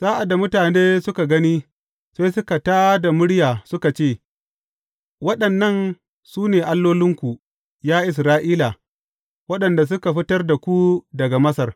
Sa’ad da mutane suka gani, sai suka tā da murya suka ce, Waɗannan su ne allolinku, ya Isra’ila, waɗanda suka fitar da ku daga Masar.